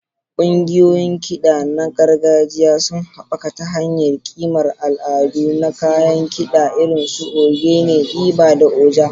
Ƙungiyoyin kiɗa na gargajiya suna haɓaka ta hanyar ƙimar al'adu na kayan kida irin su ogene, igba, da oja.